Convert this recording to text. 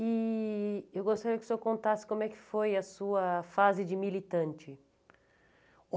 E eu gostaria que o senhor contasse como é que foi a sua fase de militante.